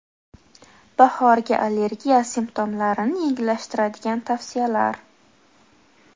Bahorgi allergiya simptomlarini yengillashtiradigan tavsiyalar.